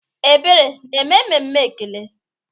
Ebere na-eme emume ekele?